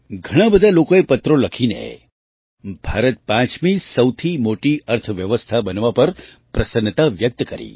ઘણા બધા લોકોએ પત્રો લખીને ભારત પાંચમી સૌથી મોટી અર્થવ્યવસ્થા બનવા પર પ્રસન્નતા વ્યક્ત કરી